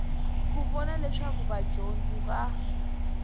ku vona leswaku vadyondzi va